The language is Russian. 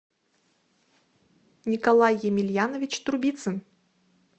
николай емельянович трубицын